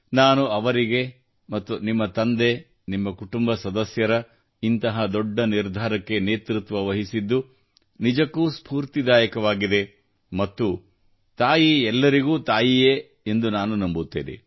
ನಾನು ಅವರಿಗೆ ಮತ್ತು ನಿಮ್ಮ ತಂದೆ ನಿಮ್ಮ ಕುಟುಂಬ ಸದಸ್ಯರ ಇಂತಹ ದೊಡ್ಡ ನಿರ್ಧಾರಕ್ಕೆ ನೇತೃತ್ವವಹಿಸಿದ್ದು ನಿಜಕ್ಕೂ ಸ್ಫೂರ್ತಿದಾಯಕವಾಗಿದೆ ಮತ್ತು ತಾಯಿ ಎಲ್ಲರಿಗೂ ತಾಯಿಯೇ ಎಂದು ನಾನು ನಂಬುತ್ತೇನೆ